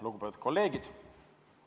Lugupeetud kolleegid!